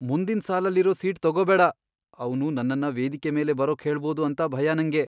ಮುಂದಿನ್ ಸಾಲಲ್ಲಿರೋ ಸೀಟ್ ತಗೋಬೇಡ. ಅವ್ನು ನನ್ನನ್ನ ವೇದಿಕೆ ಮೇಲೆ ಬರೋಕ್ ಹೇಳ್ಬೋದು ಅಂತ ಭಯ ನಂಗೆ.